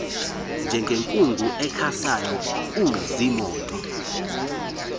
njengenkungu ekhasayo kuziimoto